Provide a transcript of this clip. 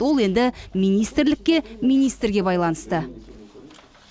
ол енді министрлікке министрге байланысты